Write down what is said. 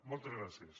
moltes gràcies